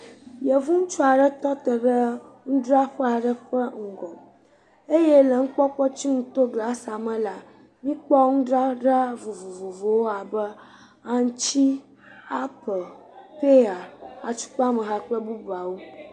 Yevu ŋutsu aɖe tɔ te ɖe nudzraƒe aɖe ƒe ŋgɔ eye le ŋkpɔkpɔtsiŋu to glasi la me la, míkpɔ nudzadzra vovovowo abe aŋuti, aple, peya, atukpameha kple bubuawo.